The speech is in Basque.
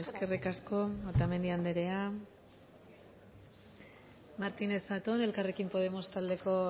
eskerrik asko eskerrik asko otamendi andrea martínez zatón elkarrekin podemos taldeko